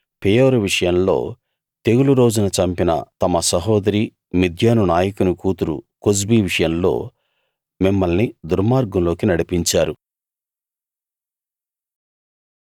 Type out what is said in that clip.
పెయోరు విషయంలో తెగులు రోజున చంపిన తమ సహోదరి మిద్యాను నాయకుని కూతురు కొజ్బీ విషయంలో మిమ్మల్ని దుర్మార్గంలోకి నడిపించారు